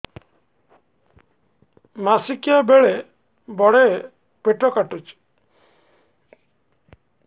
ମାସିକିଆ ବେଳେ ବଡେ ପେଟ କାଟୁଚି